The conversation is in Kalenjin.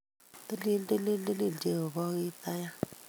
Tilil! TiliI! Tilil! Jehovah Kiptaiyat!